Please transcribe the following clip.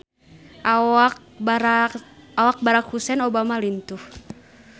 Awak Barack Hussein Obama lintuh